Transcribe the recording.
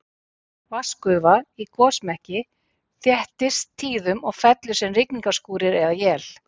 Vatnsgufa í gosmekki þéttist tíðum og fellur sem rigningarskúrir eða él.